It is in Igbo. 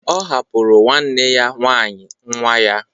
Ọ hapụrụ nwanne ya nwaanyị nwa ya.